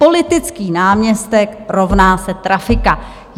Politický náměstek rovná se trafika.